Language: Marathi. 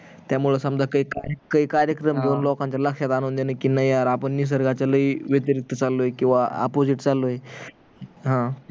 त्यामुळे समजा काही कार्यक्रम घेवून लोकांच्या लक्ष्यात आणून देन कि नाही यार आपण निसर्गाच्या लई व्यतिरिक्त चालोय किवा opposite चाललोय